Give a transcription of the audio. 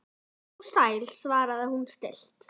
Komdu nú sæll, svarar hún stillt.